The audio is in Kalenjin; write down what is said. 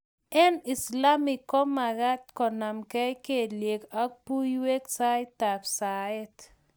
eng' islamek ko mekat konamgei kelyek ak buiwek saitab saet